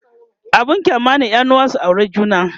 abun kyama ne yanuwa su aure juna